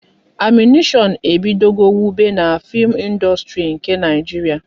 Animéshon ebido go wube n'fim ịndustri nke Naijiria